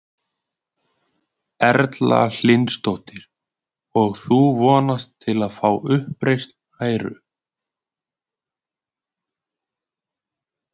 Erla Hlynsdóttir: Og þú vonast til að fá uppreisn æru?